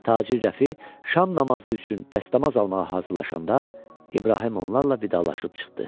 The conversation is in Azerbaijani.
Tacir Rəfi şam namazı üçün dəstəmaz almağa hazırlaşanda İbrahim onlarla vidalaşıb çıxdı.